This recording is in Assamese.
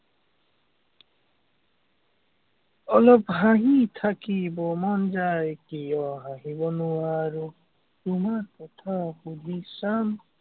অলপ হাঁহি থাকিবৰ মন যায়, কিয় হাঁহিব নোৱাৰো। তোমাৰ কথা সুধি চাম।